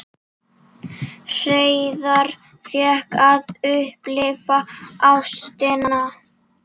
Hreiðar fékk að upplifa ástina.